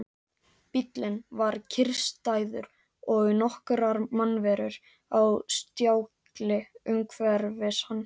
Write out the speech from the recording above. Bíllinn var kyrrstæður og nokkrar mannverur á stjákli umhverfis hann.